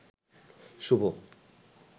শুভ